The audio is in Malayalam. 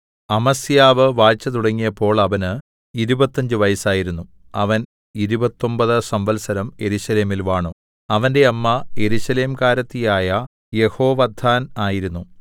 അമസ്യാവ് വാഴ്ച തുടങ്ങിയപ്പോൾ അവന് ഇരുപത്തഞ്ച് വയസ്സായിരുന്നു അവൻ ഇരുപത്തൊമ്പത് സംവത്സരം യെരൂശലേമിൽ വാണു അവന്റെ അമ്മ യെരൂശലേംകാരത്തിയായ യെഹോവദ്ദാൻ ആയിരുന്നു